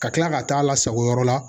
Ka tila ka taa lasago yɔrɔ la